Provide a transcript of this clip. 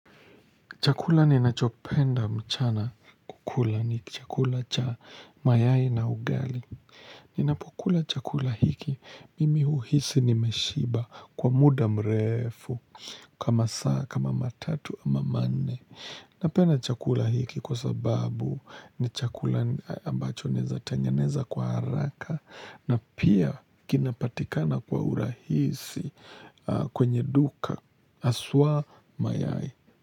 Chakula ninachopenda mchana kukula ni chakula cha mayai na ugali. Ninapokula chakula hiki, mimi huhisi nimeshiba kwa muda mrefu, kama saa, kama matatu, ama manne. Napenda chakula hiki kwa sababu ni chakula ambacho naeza tengeneza kwa haraka na pia kinapatikana kwa urahisi kwenye duka haswa mayai.